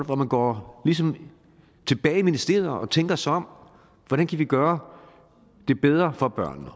hvor man går tilbage i ministeriet og tænker sig om hvordan kan vi gøre det bedre for børnene